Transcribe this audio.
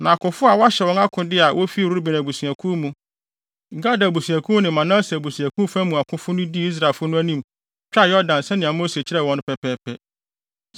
Na akofo a wɔahyɛ wɔn akode a wofi Ruben abusuakuw mu, Gad abusuakuw mu ne Manase abusuakuw fa mu akofo no dii Israelfo no anim twaa Yordan sɛnea Mose kyerɛɛ wɔn no pɛpɛɛpɛ.